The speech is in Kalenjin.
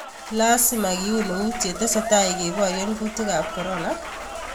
Laasima kiuun euut yetese tai keboryen kutiikab korona?